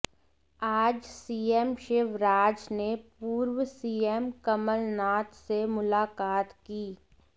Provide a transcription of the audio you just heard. आज सीएम शिवराज ने पूर्व सीएम कमलनाथ से मुलाकात की